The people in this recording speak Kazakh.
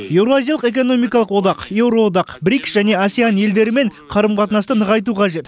еуразиялық экономикалық одақ еуроодақ брикс және асеан елдерімен қарым қатынасты нығайту қажет